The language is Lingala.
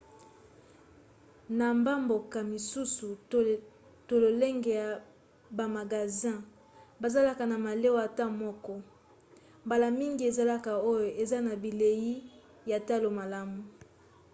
na bamboka misusu to lolenge ya bamagasin bazalaka na malewa ata moko mbala mingi ezalaka oyo eza na bilei ya talo malamu